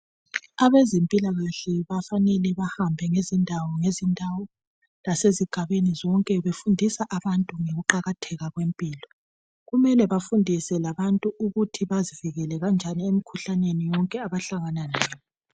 Abezempilakahle bafanele bahambe ngezindawo ngezindawo lasezigabeni zonke befundisa abantu ngokuqakatheka kwempilo. Kumele bafundise labantu ukuthi bazivikela kanjani emkhuhlaneni yonke abahlangana layo.